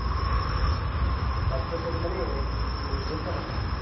কাব্যসাহিত্যে মানে এ এ বুঝতে পারলাম না